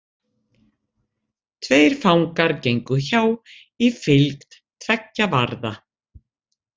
Tveir fangar gengu hjá, í fylgd tveggja varða.